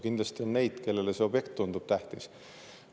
Kindlasti on neid, kellele need objektid tunduvad tähtsad.